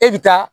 E bi taa